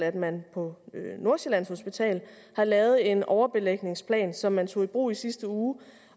at man på nordsjællands hospital har lavet en overbelægningsplan som man tog i brug i sidste uge